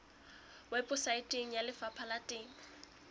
weposaeteng ya lefapha la temo